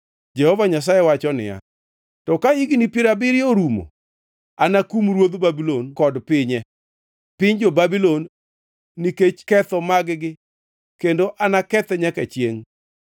Jehova Nyasaye wacho niya, “To ka higni piero abiriyo orumo, anakum ruodh Babulon kod pinye, piny jo-Babulon, nikech ketho mag-gi, kendo anakethe nyaka chiengʼ.